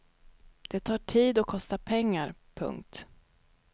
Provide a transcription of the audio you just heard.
Det tar tid och kostar pengar. punkt